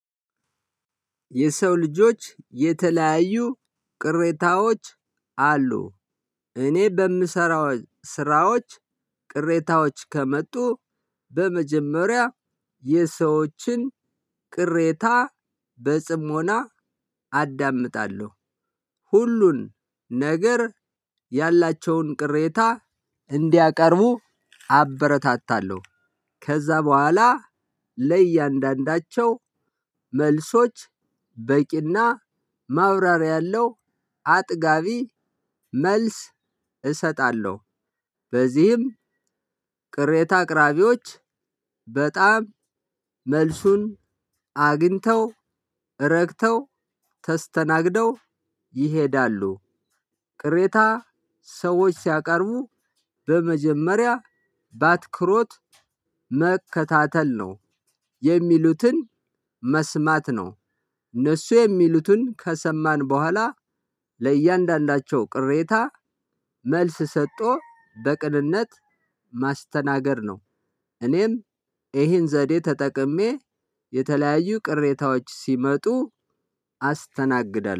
የሰው ልጆች የተለያዩ ቅሬታዎች አሉ። እኔ በምሰራው ስራዎች ቅሬታዎች ከመጡ በመጀመሪያ የሰዎችን ቅሬታ በጽሞና አዳምጣለሁ። ሁሉን ነገር ያላቸውን ቅሬታ እንዲያቀርቡ አበረታታለሁ። ከዚያ በኋላ ለእያንዳዳቸው መልሶች በቂና ማብራሪያ ያለው አጥጋቢ መልስ እሰጣለሁ። በዚህም ቅሬታ አቅራቢዎች በጣም መልሱን አግኝተው ረክተው ተስተናግደው ይሄዳሉ። ቅሬታ ሰዎች ሲያቀርቡ በመጀመሪያ ባትክሮት መከታተል ነው የሚሉትን መስማት ነው። እነሱ የሚሉትን ከሰማን በኋላ ለእያንዳንዳቸው ቅሬታ መልስ ሰጦ በቅንነት ማስተናገድ ነው። እኔም ይሄን ዘዴ ተጠቅሜ የተለያዩ ቅሬታዎች ሲመጡ አስተናግዳለሁ